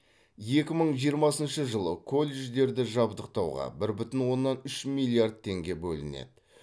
екі мың жиырмасыншы жылы колледждерді жабдықтауға бір бүтін оннан үш миллиард теңге бөлінеді